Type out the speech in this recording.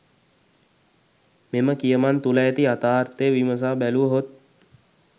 මෙම කියමන් තුළ ඇති යථාර්ථය විමසා බැලුව හොත්?